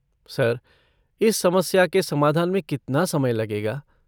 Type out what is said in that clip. Sir, इस समस्या के समाधान में कितना समय लगेगा?